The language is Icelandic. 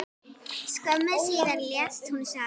Skömmu síðar lést hún sjálf.